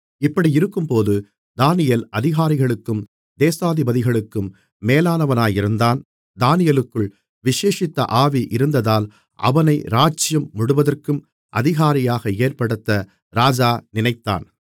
இப்படியிருக்கும்போது தானியேல் அதிகாரிகளுக்கும் தேசாதிபதிகளுக்கும் மேலானவனாயிருந்தான் தானியேலுக்குள் விசேஷித்த ஆவி இருந்ததால் அவனை ராஜ்ஜியம் முழுவதற்கும் அதிகாரியாக ஏற்படுத்த ராஜா நினைத்தான்